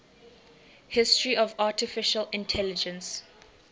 history of artificial intelligence